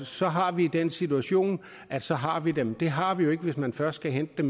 så har vi den situation at så har vi dem det har vi jo ikke hvis man først skal hente